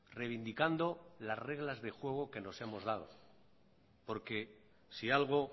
reivindicando las reglas de juego que nos hemos dado porque si algo